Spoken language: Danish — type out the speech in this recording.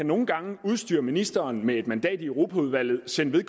nogle gange kan udstyre ministeren med et mandat i europaudvalget sende